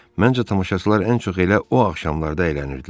Məncə tamaşaçılar ən çox elə o axşamlarda əylənirdilər.